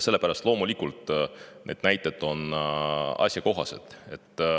Sellepärast on need näited asjakohased.